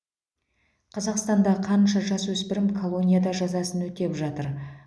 қазақстанда қанша жасөспірім колонияда жазасын өтеп жатыр